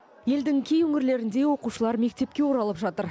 елдің кей өңірлерінде оқушылар мектепке оралып жатыр